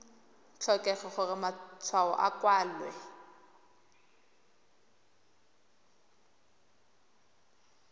tlhokege gore matshwao a kwalwe